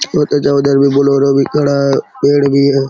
उधर भी बोलेरो भी थोड़ा पेड़ भी है ।